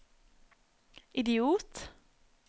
idiot